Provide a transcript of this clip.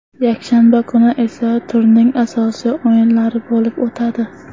Yakshanba kuni esa turning asosiy o‘yinlari bo‘lib o‘tadi.